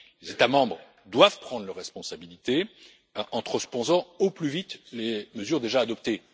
Les États membres doivent prendre leurs responsabilités en transposant au plus vite les mesures déjà adoptées.